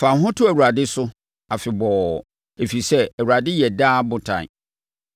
Fa wo ho to Awurade so afebɔɔ, ɛfiri sɛ, Awurade yɛ daa Botan.